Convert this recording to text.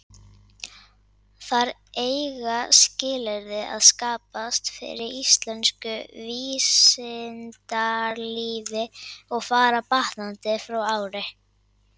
Þar eiga skilyrði að skapast fyrir íslensku vísindalífi, og fara batnandi ár frá ári.